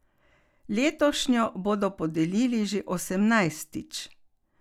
Letošnjo bodo podelili že osemnajstič.